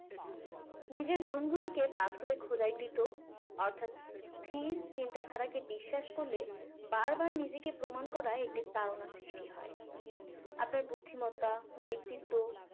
নিজের গুনগুলোকে পাথরে খোদাইকৃত অর্থাৎ স্থির চিন্তাধারাকে বিশ্বাস করলে বার বার নিজেকে প্রমান করায় একটি তাড়ণা সৃষ্টি হয় আপনার বুদ্ধিমত্তা ব্যক্তিত্ব